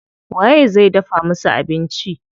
Waye zai dafa musu abinci?